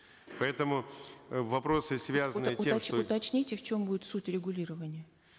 поэтому э вопросы связанные уточните в чем будет суть регулирования